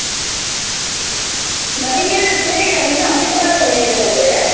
ನನಗ್ ಏನ್ ಅನ್ಸುತ್ತೆ ಅಂದ್ರೆ ಈಗ ನಿನ್ನ ಅಭಿಪ್ರಾಯ ಏನಿದೆ ಅಂದ್ರೆ